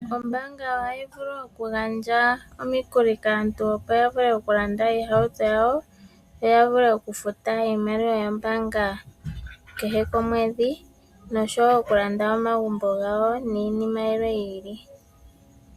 Ombaanga ohayi vulu okugandja omikuli kaantu opo ya vule okulanda iihauto yawo, yo ya vule okufuta iimaliwa yombaanga kehe komwedhi. Ohaya vulu wo okulanda omagumbo gawo, nosho tu.